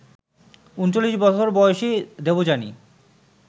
৩৯ বছর বয়সী দেবযানী